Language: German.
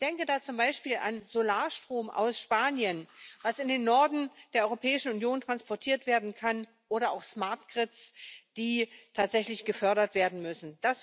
Ich denke da zum Beispiel an Solarstrom aus Spanien, der in den Norden der Europäischen Union transportiert werden kann, oder auch smart grids die tatsächlich gefördert werden müssen.